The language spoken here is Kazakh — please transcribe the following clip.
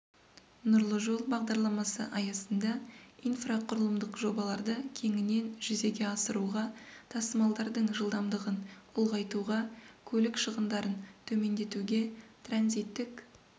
нұрлы жол бағдарламасы аясында инфрақұрылымдық жобаларды кеңінен жүзеге асыруға тасымалдардың жылдамдығын ұлғайтуға көлік шығындарын төмендетуге транзиттік